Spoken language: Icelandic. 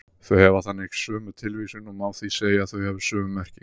Þau hafa þannig sömu tilvísun og má því segja að þau hafi sömu merkingu.